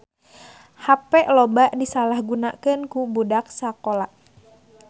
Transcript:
Hape loba disalahgunakeun ku budak sakola